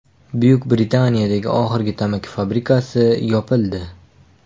Buyuk Britaniyadagi oxirgi tamaki fabrikasi yopildi.